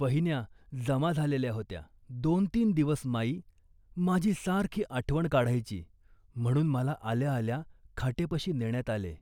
वहिन्या जमा झालेल्या होत्या. दोनतीन दिवस माई माझी सारखी आठवण काढायची म्हणून मला आल्या आल्या खाटेपाशी नेण्यात आले